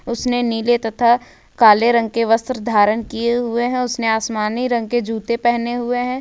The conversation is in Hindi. उसने नील तथा काले रंग के वस्त्र धारण किए हुए हैं उसने आसमानी रंग के जूते पहने हुए हैं।